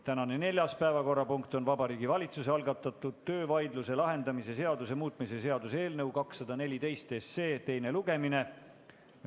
Tänane neljas päevakorrapunkt on Vabariigi Valitsuse algatatud töövaidluse lahendamise seaduse muutmise seaduse eelnõu 214 teine lugemine.